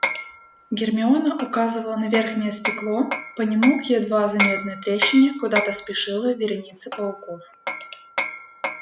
гермиона указывала на верхнее стекло по нему к едва заметной трещине куда-то спешила вереница пауков